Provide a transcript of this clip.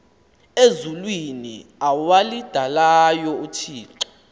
ezulwini awalidalayo uthixo